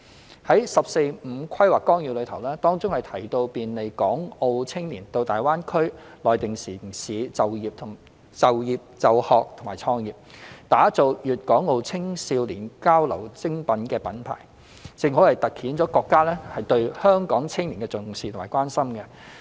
在國家《十四五規劃綱要》當中，提到便利港澳青年到粵港澳大灣區內地城市就學、就業和創業，打造粵港澳青少年交流精品品牌，正好凸顯了國家對香港青年的重視和關心。